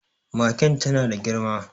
Magen ta na da girma.